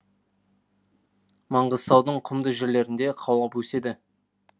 маңғыстаудың құмды жерлерінде қаулап өседі